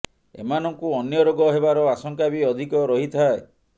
ଏମାନଙ୍କୁ ଅନ୍ୟ ରୋଗ ହେବାର ଆଶଙ୍କା ବି ଅଧିକ ରହିଥାଏ